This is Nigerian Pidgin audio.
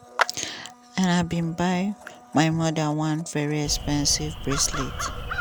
and i bin buy my mother one very expensive bracelet.